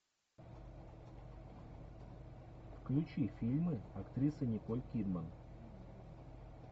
включи фильмы актрисы николь кидман